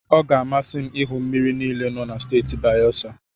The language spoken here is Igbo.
Ọ ga-amasị m ịhụ mmiri niile nọ na Steeti Bayesa.